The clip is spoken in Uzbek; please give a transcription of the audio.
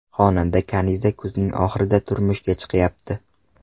Xonanda Kaniza kuzning oxirida turmushga chiqyapti.